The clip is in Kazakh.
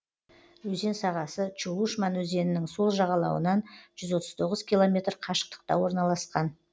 өзен сағасы чулышман өзенінің сол жағалауынан жүз отыз тоғыз километр қашықтықта орналасқан